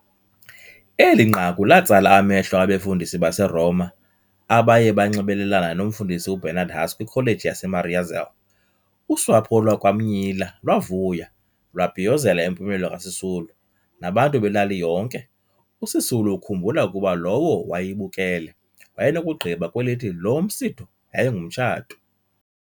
Eli nqaku latsala amehlo abefundisi baseRoma abayebanxibelelana nomfundisi uBernard Huss kwiCollege yaseMariazell. Usapho lwakwaMnyila lwavuya, lwabhiyozela impumelelo kaSisulu, nabantu belali yonke, uSisulu ukhumbula ukuba lowo wayebukele wayenokugqiba kwelithi loo msitho yayingumtshato.